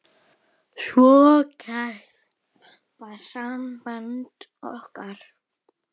Svo kært var samband okkar.